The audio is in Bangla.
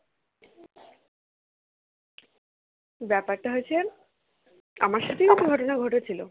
ব্যাপারটা হয়েছে, আমার সাথেই তো ঘটনা ঘটেছিলো